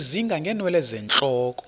ezinga ngeenwele zentloko